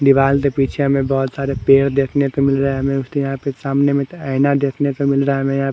दिवाल के पीछे हमे बहोत सारे पेड़ देखने को मिल रहे हैं हमें उसके यहां सामने आइना देखने को मिल रहा है हमे यहां--